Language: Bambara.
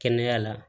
Kɛnɛya la